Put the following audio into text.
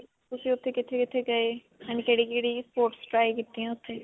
ਤੁਸੀਂ ਉੱਥੇ ਕਿੱਥੇ-ਕਿੱਥੇ ਗਏ and ਕਿਹੜੀ-ਕਿਹੜੀ sports try ਕੀਤੀਆਂ ਉੱਥੇ.